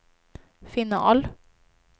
final